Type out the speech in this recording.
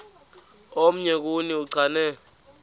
omnye kuni uchane